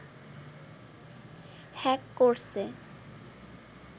hack করছে